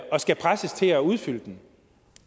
skal presses til at udføre den